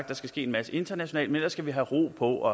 der skal ske en masse internationalt men ellers skal vi have ro på og